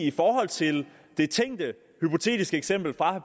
i forhold til det tænkte hypotetiske eksempel fra